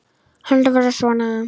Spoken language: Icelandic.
Heldur var það svona!